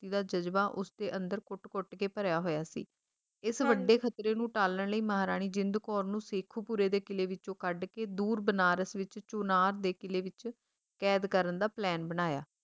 ਭਗਤੀ ਦਾ ਜਜਬਾ ਉਸਦੇ ਅੰਦਰ ਘੁੱਟ ਘੁੱਟ ਕੇ ਭਰਿਆ ਹੋਇਆ ਸੀ ਇਸ ਵੱਡੇ ਖਤਰੇ ਨੂੰ ਟਾਲਣ ਲਈ ਮਹਾਰਾਣੀ ਜਿੰਦ ਕੌਰ ਨੂੰ ਸ਼ੇਖੁਪੁਰੇ ਦੇ ਕਿਲ੍ਹੇ ਵਿੱਚੋਂ ਕੱਢਕੇ ਦੂਰ ਬਨਾਰਸ ਵਿੱਚ ਚੁਨਾਰ ਦੇ ਕਿਲ੍ਹੇ ਵਿੱਚ ਕੈਦ ਕਰਨ ਦਾ plan ਬਣਾਇਆ